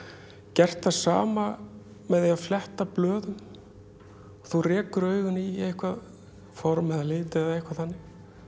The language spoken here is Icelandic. gert það sama með því að fletta blöðum þú rekur augun í eitthvað form eða lit eða eitthvað þannig